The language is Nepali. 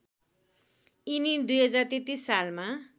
यिनी २०३३ सालमा